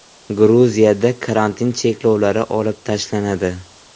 Gruziyada karantin cheklovlari olib tashlanadi.